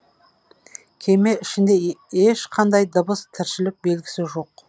кеме ішінде ешқандай дыбыс тіршілік белгісі жоқ